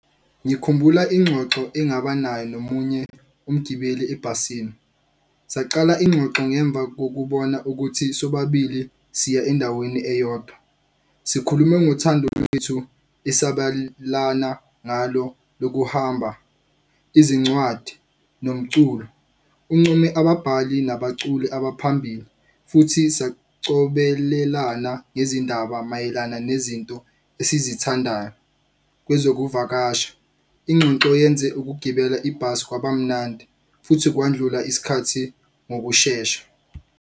Ngikhumbula ingxoxo engaba nayo nomunye umgibeli ebhasini. Saqala ingxoxo ngemva kokubona ukuthi sobabili siya endaweni eyodwa. Sikhulume ngothando lwethu ngalo lokuhamba, izincwadi nomculo. Uncome ababhali nabaculi abaphambili futhi sacobelelana ngezindaba mayelana nezinto esizithandayo kwezokuvakasha. Ingxoxo yenze ukugibela ibhasi kwaba mnandi futhi kwandlula isikhathi ngokushesha.